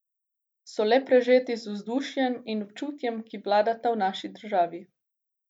So le prežeti z vzdušjem in občutjem, ki vladata v naši državi.